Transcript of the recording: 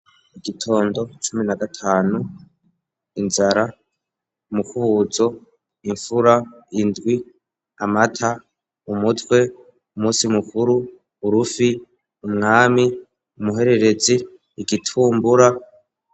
Igitondo cumi na gatanu inzara umukubuzo imfura indwi amata umutwe umusi mukuru urufi umwami umuhererezi igitumbura.